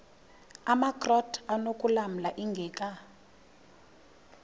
amakrot anokulamla ingeka